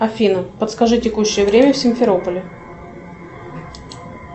афина подскажи текущее время в симферополе